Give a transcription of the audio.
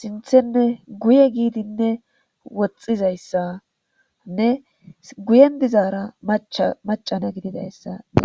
sinthenne guye gidinne woxizaydsanne guyen dizara maca na gididaysa